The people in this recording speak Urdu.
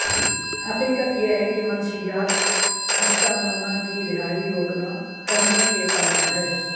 حقیقت یہ ہے کہ منشیات ہسٹامانا کی رہائی روکنا کرنے کے قابل ہے